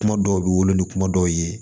Kuma dɔw bi wolo ni kuma dɔw ye